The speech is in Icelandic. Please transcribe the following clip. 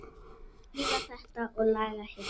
Þrífa þetta og laga hitt.